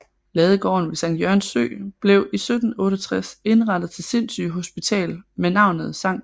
Ladegården ved Sankt Jørgens Sø blev i 1768 indrettet til sindssygehospital med navnet Sct